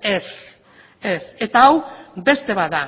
ez ez eta hau beste bat da